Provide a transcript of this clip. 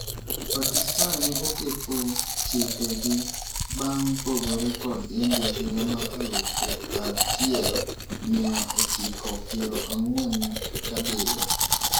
Pakistan ne okepo chike gi bang' pogore kod India higa mar alufu achiel mia ochiko piero ang'uen gabirio.